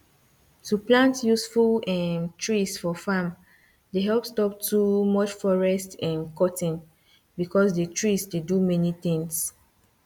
to plant useful um trees for farm dey help stop too much forest um cutting because the trees dey do many things